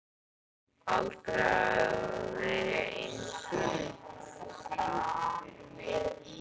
Aldrei hafði það verið eins gott.